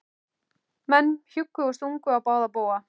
Menn hjuggu og stungu á báða bóga.